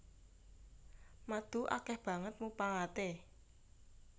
Madu akèh banget mupangaté